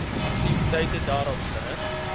aktiwiteite daarop gerig